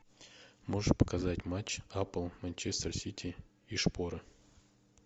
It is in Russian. можешь показать матч апл манчестер сити и шпоры